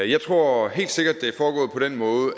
jeg tror helt sikkert